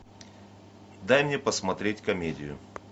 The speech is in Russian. дай мне посмотреть комедию